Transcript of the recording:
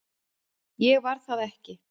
Ég var það ekki